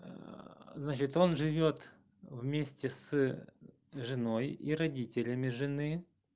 значит он живёт вместе с женой и родителями жены